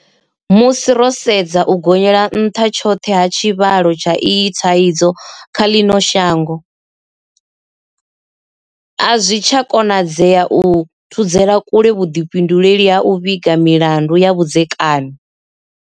Musi ro sedza u gonyelanṱha tshoṱhe ha tshivhalo tsha iyi thaidzo kha ḽino shango, azwi tsha konadzea u thudzela kule vhuḓifhinduleli ha u vhiga milandu ya vhudzekani.